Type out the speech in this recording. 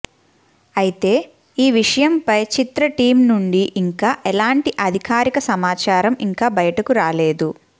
అయితే ఈ విషయంపై చిత్ర టీమ్ నుండి ఇంకా ఎలాంటి అధికారిక సమాచారం ఇంకా బయటకు రాలేదు